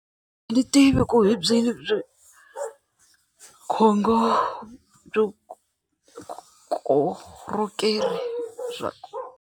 A ndzi tivi ku hi byi .